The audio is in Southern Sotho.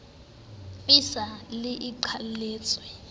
e sa le e qheletswe